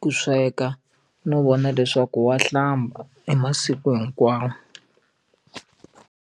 ku sweka no vona leswaku wa hlamba hi masiku hinkwawo.